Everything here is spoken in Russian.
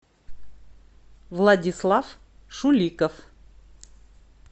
владислав шуликов